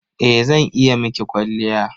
Eh zan iya miki kwalliya.